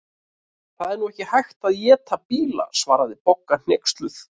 Það er nú ekki hægt að éta bíla svaraði Bogga hneyksluð.